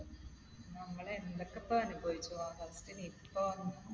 നമ്മൾ എന്തൊക്കെപ്പനുഭവിച്ചു. ആഹ് സമയത്ത് Nipah വന്നു.